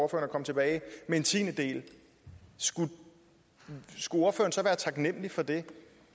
og kom tilbage med en tiendedel skulle ordføreren så være taknemlig for det